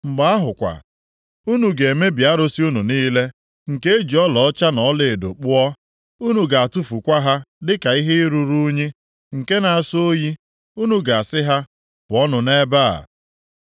Mgbe ahụ kwa, unu ga-emebi arụsị unu niile, nke e ji ọlaọcha na ọlaedo kpụọ. Unu ga-atụfukwa ha dịka ihe ruru unyi, nke na-asọ oyi. Unu ga-asị ha, “Pụọnụ nʼebe a!”